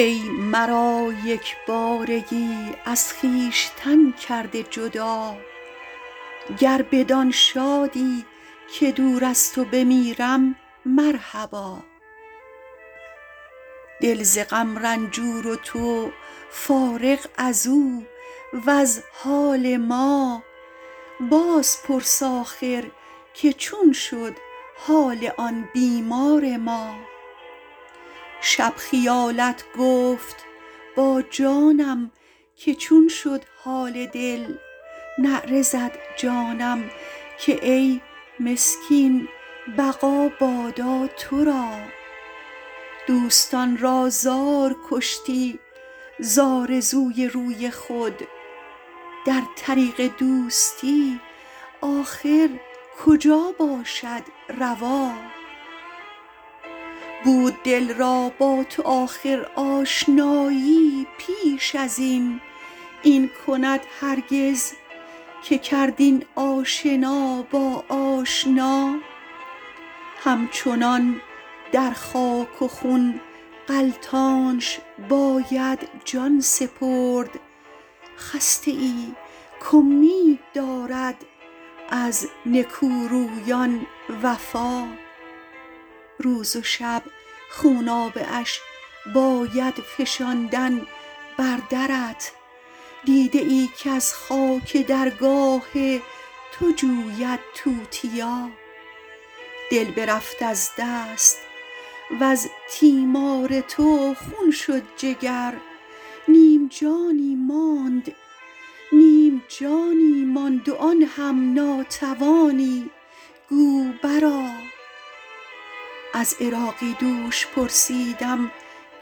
ای مرا یک بارگی از خویشتن کرده جدا گر بدآن شادی که دور از تو بمیرم مرحبا دل ز غم رنجور و تو فارغ ازو وز حال ما بازپرس آخر که چون شد حال آن بیمار ما شب خیالت گفت با جانم که چون شد حال دل نعره زد جانم که ای مسکین بقا بادا تو را دوستان را زار کشتی ز آرزوی روی خود در طریق دوستی آخر کجا باشد روا بود دل را با تو آخر آشنایی پیش ازین این کند هرگز که کرد این آشنا با آشنا هم چنان در خاک و خون غلتانش باید جان سپرد خسته ای کامید دارد از نکورویان وفا روز و شب خونابه اش باید فشاندن بر درت دیده ای کز خاک درگاه تو جوید توتیا دل برفت از دست وز تیمار تو خون شد جگر نیم جانی ماند و آن هم ناتوانی گو بر آ از عراقی دوش پرسیدم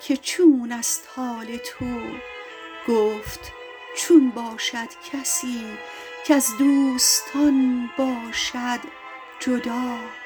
که چون است حال تو گفت چون باشد کسی کز دوستان باشد جدا